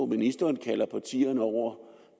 ministeren kalder partierne over